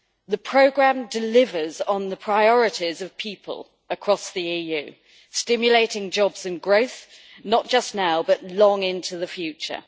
The programme delivers on the priorities of people across the EU, stimulating jobs and growth, not just now but long into the future.